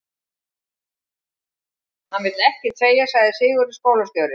Hann vill ekkert segja, sagði Sigurður skólastjóri.